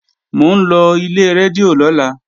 Mò ń lọ ilé rédíò lọ́la